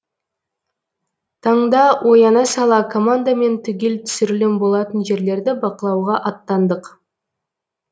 таңда ояна сала командамен түгел түсірілім болатын жерлерді бақылауға аттандық